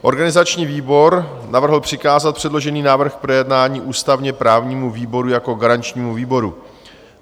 Organizační výbor navrhl přikázat předložený návrh k projednání ústavně-právnímu výboru jako garančnímu výboru.